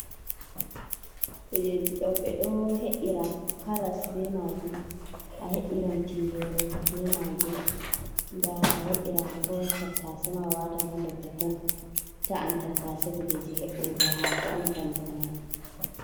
Kujeji ɗo ɓe ɗo he'ira karas be maajum, a he'iran tingere be maajum. Nda a he'iran ko tattase ma a watan ha nder totton, ta'an tattase. Kujeji he'urgo haako on kanjum mai.